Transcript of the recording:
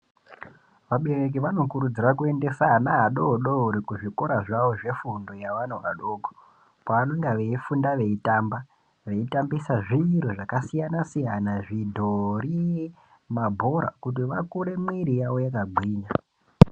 Vabereki vanokurudzira kuendesa ana adoodori kuzvikora zvawo zvefundo zvevana vadoko kwavanenge veifunda veitamba, veitambisa zvinthu zvakasiyana-siyana zvidhori, mabhora kuti vakure mwiri yavo yakagwinya.